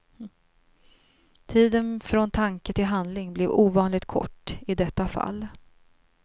Tiden från tanke till handling blev ovanligt kort i detta fall.